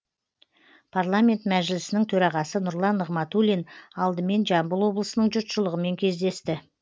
парламент мәжілісінің төрағасы нұрлан нығматулин алдымен жамбыл облысының жұртшылығымен кездесті